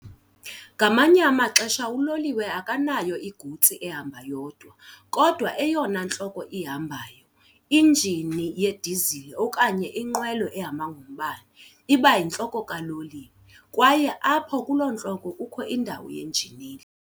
Ngamanye amaxesha uloliwe akanayo igutsi ehamba yodwa, kodwa eyona ntloko ihambayo, injini yedisile okanye linqwelo ehamba ngombane, iba yintloko kaloliwe, kwaye apho kulo ntloko kukho indawo yenjineli.